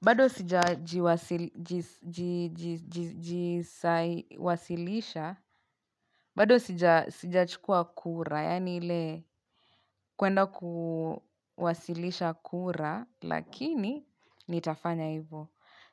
Bado sija jiwasilisha, bado sijachukua kura, yani ile kuenda kuwasilisha kura, lakini nitafanya hivo.